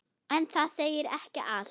En það segir ekki allt.